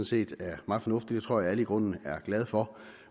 set er meget fornuftigt det tror jeg alle i grunden er glade for